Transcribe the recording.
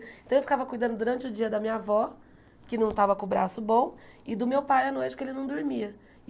Então eu ficava cuidando durante o dia da minha avó, que não estava com o braço bom, e do meu pai a noite que ele não dormia.